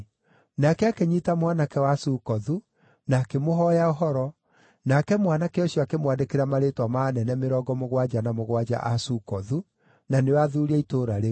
Nake akĩnyiita mwanake wa Sukothu, na akĩmũhooya ũhoro, nake mwanake ũcio akĩmwandĩkĩra marĩĩtwa ma anene mĩrongo mũgwanja na mũgwanja a Sukothu, na nĩo athuuri a itũũra rĩu.